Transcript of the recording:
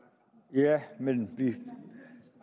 ja men vi